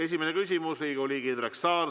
Esimene küsimus, Riigikogu liige Indrek Saar.